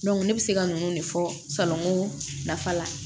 ne bɛ se ka ninnu de fɔ salon ko nafa la